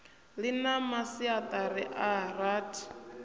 ḽi na masiaṱari a rathi